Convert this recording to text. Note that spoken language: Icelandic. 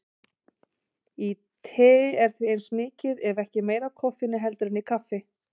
Í tei er því eins mikið ef ekki meira af koffeini heldur en í kaffi.